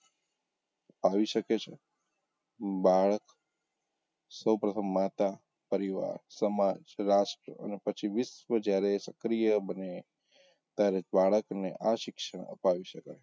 ફાવી શકે છે બાળક સૌ પ્રથમ માતા, પરિવાર, સમાજ, રાષ્ટ્ર અને પછી વિશ્વ જયારે સક્રિય બને ત્યારે બાળકને આ શિક્ષણ અપાવી શકાય.